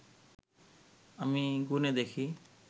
আমি গুনে দেখি